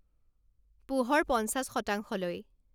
পোহৰ পঞ্চাছ শতাংশলৈ